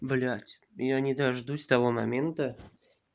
блять я не дождусь того момента